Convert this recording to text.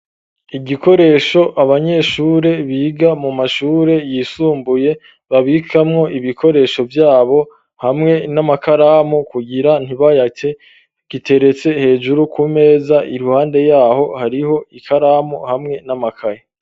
Igikoresho abanyeshure biga mu mashure yisumbuye babikamwo ibikoresho vyabo hamwe n'amakaramu kugira ntibayate, giteretse hejuru ku meza, iruhande yaho hariho ikaramu hamwe n'amakaye.